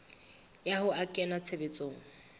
ya ho a kenya tshebetsong